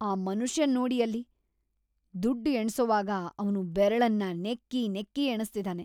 ಆ ಮನುಷ್ಯನ್ ನೋಡಿ ಅಲ್ಲಿ. ದುಡ್ಡ್ ಎಣ್ಸೋವಾಗ ಅವ್ನು ಬೆರಳನ್ನ ನೆಕ್ಕಿ ನೆಕ್ಕಿ‌ ಎಣಿಸ್ತಿದಾನೆ.